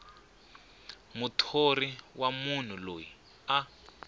muthori wa munhu loyi a